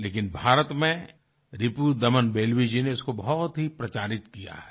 लेकिन भारत में रिपुदमन बेल्वी जी ने इसको बहुत ही प्रचारित किया है